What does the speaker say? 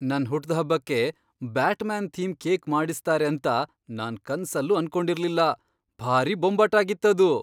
ನನ್ ಹುಟ್ದ್ಹಬ್ಬಕ್ಕೆ Batman theme cake ಮಾಡಿಸ್ತಾರೆ ಅಂತ ನಾನ್ ಕನ್ಸಲ್ಲೂ ಅನ್ಕೊಂಡಿರ್ಲಿಲ್ಲ, ಭಾರೀ ಬೊಂಬಾಟಾಗಿತ್ತದು!